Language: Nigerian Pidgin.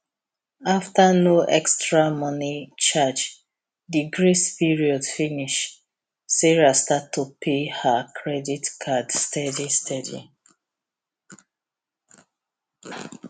after no extra money charge the grace period finish sarah start to pay her credit card steady steady